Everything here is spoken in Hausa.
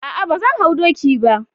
Ah ah, bazan hau doki bah.